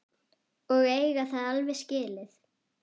Og eiga það alveg skilið.